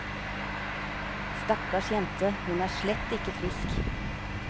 Stakkars jente, hun er slett ikke frisk.